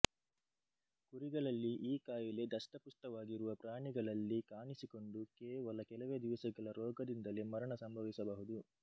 ಕುರಿಗಳಲ್ಲಿ ಈ ಕಾಯಿಲೆ ದಷ್ಟಪುಷ್ಟವಾಗಿರುವ ಪ್ರಾಣಿಗಳಲ್ಲಿ ಕಾಣಿಸಿಕೊಂಡು ಕೇವಲ ಕೆಲವೇ ದಿವಸಗಳ ರೋಗದಿಂದಲೇ ಮರಣ ಸಂಭವಿಸಬಹುದು